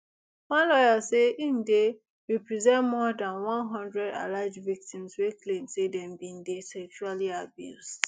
one lawyer say im dey represent more dan one hundred alleged victims wey claim say dem bin dey sexually abused